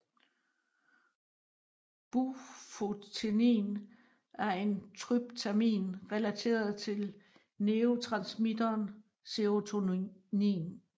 Bufotenin er en tryptamin relateret til neurotransmitteren serotonin